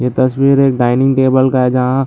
ये तस्वीर एक डाइनिंग टेबल का है जहाँ --